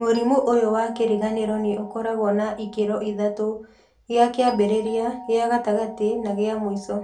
Mũrimũ ũyũ wa kĩriganĩro nĩ ũkoragwo na ikĩro ithatũ :gĩa kĩambĩrĩria, gĩa gatagatĩ na gĩa mũico.